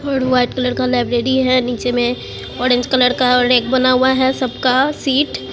और white colour का library है नीचे में ऑरेंज कलर का और एक बना हुआ है सब का सीट ।